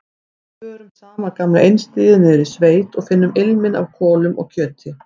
Við förum sama gamla einstigið niður í sveit og finnum ilminn af kolum og kjöti.